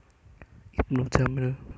Ibnu Jamil